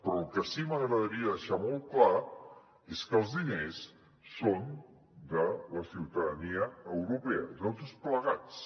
però el que sí que m’agradaria deixar molt clar és que els diners són de la ciutadania europea de tots plegats